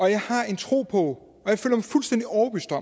jeg har en tro på og jeg